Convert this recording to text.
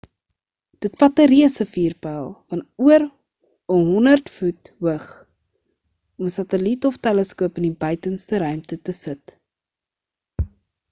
dit vat 'n reuse vuurpyl van oor 'n 100 voet hoog om 'n sateliet of teleskoop in die buitenste ruim te sit